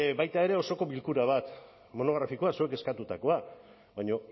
baita ere osoko bilkura bat monografikoa zuek eskatutakoa baina